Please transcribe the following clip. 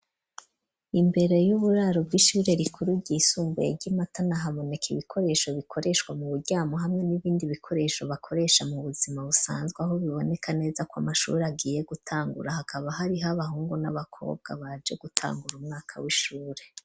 Imbere y'uburaro bw'ishure rikuru ryisumbuye ryi Matana haboneka ibikoresho bikoreshwa mu buryamo hamwe n'ibindi bikoresho bakoresha mu buzima busanzwe ho biboneka neza ko amashuri agiye gutangura hakaba hariho abahungu n'abakobwa baje gutangura umwaka w'ishure.